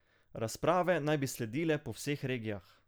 Razprave naj bi sledile po vseh regijah.